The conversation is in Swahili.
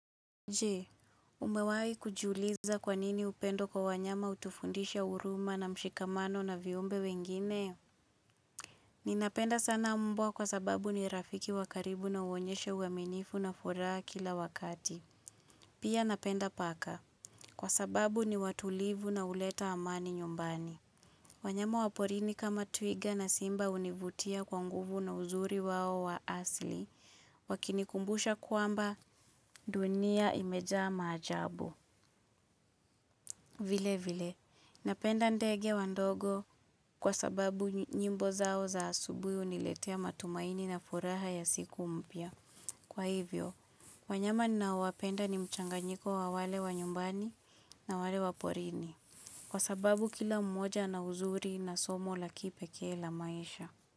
Nje, umewahi kujuiliza kwa nini upendo kwa wanyama hutufundisha huruma na mshikamano na viumbe wengine? Ninapenda sana mbwa kwa sababu ni rafiki wa karibu na huonyesha uaminifu na furaha kila wakati. Pia napenda paka. Kwa sababu ni watulivu na huleta amani nyumbani. Wanyama waporini kama twiga na simba hunivutia kwa nguvu na uzuri wao wa asli. Wakinikumbusha kwamba dunia imejaa ma ajabu. Vile vile, napenda ndege wa ndogo kwa sababu nyimbo zao za asubuhi huniletea matumaini na furaha ya siku mpya. Kwa hivyo, wanyama ninao wapenda ni mchanganyiko wa wale wa nyumbani na wale wa porini. Kwa sababu kila mmoja ana uzuri na somo la kipekee la maisha.